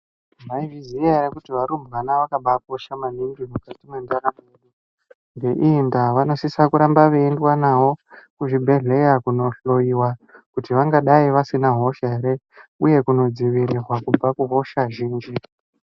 Mwaizviziya ere kuti varumbwana zvakabaakosha maningi mukati mwendaramo yedu. Ngeiyi ndaa, vanosisa kuramba veiendwa navo kuzvibhedhlera kunohloiwa, kuti vangadai vasina hosha ere ,uye kunodzivirirwa kubva kuhosha zhinji.